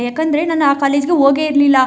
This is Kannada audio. ಯಾಕಂದ್ರೆ ನಾನು ಆ ಕಾಲೇಜ್ ಗೆ ಹೋಗೆ ಇರ್ಲಿಲ್ಲ.